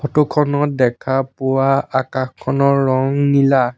Photo খনত দেখা পোৱা অকাশখনৰ ৰং নীলা।